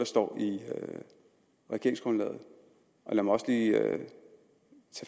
står i regeringsgrundlaget lad mig også lige